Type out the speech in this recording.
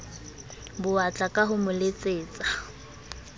bowatla ka ho mo letsetsa